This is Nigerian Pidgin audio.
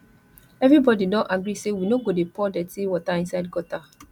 everybody don agree say we no go dey pour dirty water inside gutter